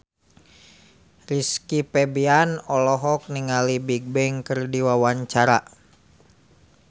Rizky Febian olohok ningali Bigbang keur diwawancara